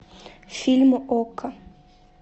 фильм окко